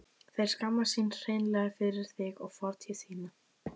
Þeir skammast sín hreinlega fyrir þig og fortíð þína.